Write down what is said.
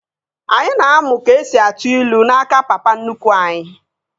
Anyị na-amụ ka esi atụ ilu n'aka papa nnukwu anyi